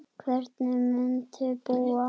Hvernig muntu búa?